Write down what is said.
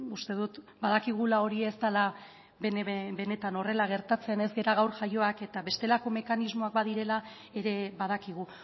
uste dut badakigula hori ez dela benetan horrela gertatzen ez gara gaur jaioak eta bestelako mekanismoak badirela ere badakigu